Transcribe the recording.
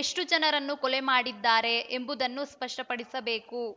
ಎಷ್ಟುಜನರನ್ನು ಕೊಲೆ ಮಾಡಿದ್ದಾರೆ ಎಂಬುದನ್ನು ಸ್ಪಷ್ಟಪಡಿಸಬೇಕು